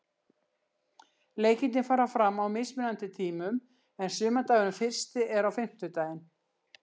Leikirnir fara fram á mismunandi tímum en sumardagurinn fyrsti er á fimmtudaginn.